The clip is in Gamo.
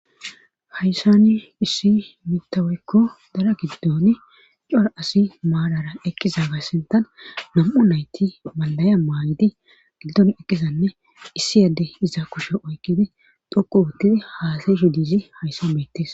hayssani issi mitaweykko dara giddon cora asi maadara eqqiza gassintan nam7u nayti maldaya maayidi giddon eqqizanne issi yadde iza kushe oykkidi doku uuttidi haasaysho diizi hayssa meettes